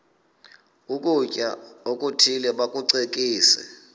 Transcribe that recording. ukutya okuthile bakucekise